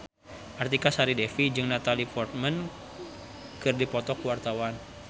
Artika Sari Devi jeung Natalie Portman keur dipoto ku wartawan